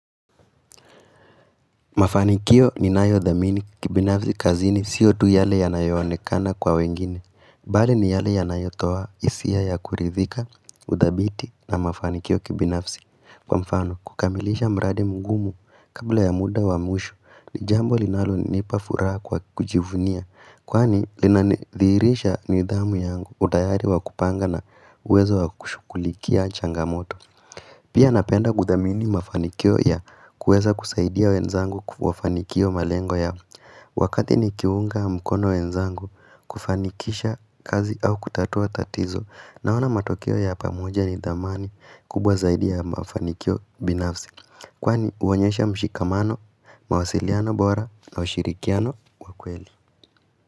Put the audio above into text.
Mafanikio ninayodhamini kibinafsi kazini sio tu yale yanayoonekana kwa wengine, bali ni yale yanayotoa hisia ya kuridhika, udhabiti na mafanikio kibinafsi. Kwa mfano, kukamilisha mradi mgumu kabla ya muda wa mwisho ni jambo linalonipa furaha kwa kujivunia, kwani linanidhihirisha nidhamu yangu utayari wa kupanga na uwezo wa kushughulikia changamoto. Pia napenda kudhamini mafanikio ya kuweza kusaidia wenzangu kufanikio malengo ya Wakati nikiunga mkono wenzangu kufanikisha kazi au kutatua tatizo, Naona matokeo ya pamoja ni dhamani kubwa zaidia ya mafanikio binafsi Kwani huonyesha mshikamano, mawasiliano bora na ushirikiano wa kweli.